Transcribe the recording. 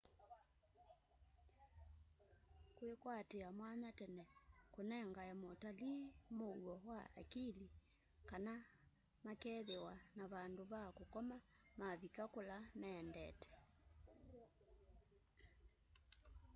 kwikwatia mwanya tene kunengae mutalii muuo wa akili kana makeethiwa na vandu va kukoma mavika kula maendete